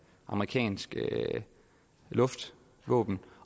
amerikanske luftvåben